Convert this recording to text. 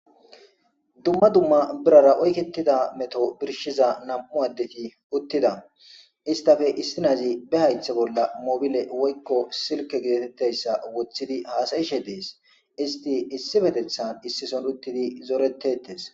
dumma dumma birara oyketida meto birshiza nam7u addeti uttida istafe issi nazi be haythe bolla mobile woykko silke geatetteyssa wothidi haasayishe dees isti issi petethan issison uttidi zorettettes